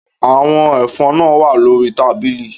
Àwọn ẹ̀fọn náà wà lórí tábìlì